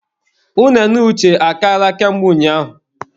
Unene Uche achaala ka mgbe ụnyaahụ